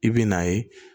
I bi n'a ye